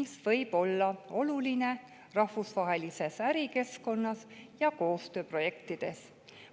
mis võib olla oluline rahvusvahelises ärikeskkonnas ja koostööprojektides.